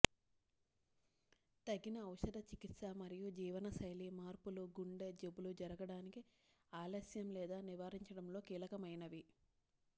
తగిన ఔషధ చికిత్స మరియు జీవనశైలి మార్పులు గుండె జబ్బులు జరగడానికి ఆలస్యం లేదా నివారించడంలో కీలకమైనవి